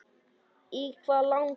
Í hvað langar þig?